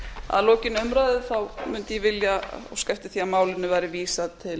að lokinni umræðu mundi ég vilja óska eftir því að málinu væri vísað til